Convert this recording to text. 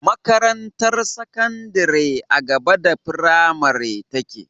Makarantar sakandari a gaba da fimari take